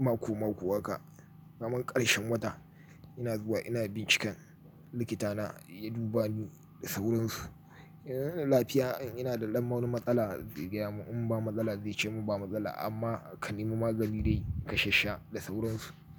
mako-mako haka, kaman karshen wata ina zuwa ina binciken likitana ya duba ni da sauransu. Ina da lafiya, ina da ɗan wani matsala, zai gaya mun in ba matsala zai ce mun ba matsala amma ka nemi magani dai kashash sha da sauransu.